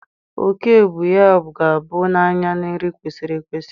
Oke ibu ya ga-apụ n'anya na nri kwesịrị ekwesị